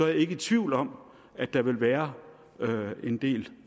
jeg ikke i tvivl om at der vil være en del